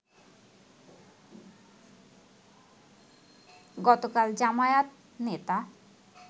গতকাল জামায়াত নেতা